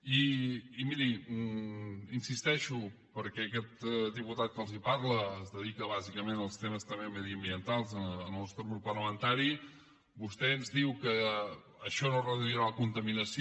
i miri hi insisteixo perquè aquest diputat que els parla es dedica bàsicament als temes també mediambientals en el nostre grup parlamentari vostè ens diu que això no reduirà la contaminació